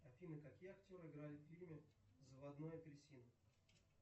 афина какие актеры играли в фильме заводной апельсин